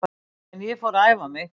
En ég fór að æfa mig.